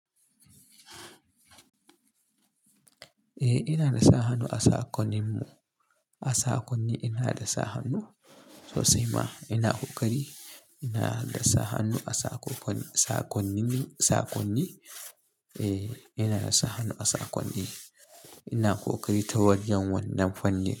Eh ina da sa hannu a saƙoninmu, a saƙonni ina da sa hannu sosai ma ina ƙoƙari. Ina da sa hannu a saƙonni, saƙonnin saƙonni. Eh ina da sa hannu a saƙonni, ina ƙoƙari ta wajen wannan fanni.